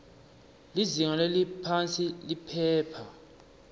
lizinga leliphansi liphepha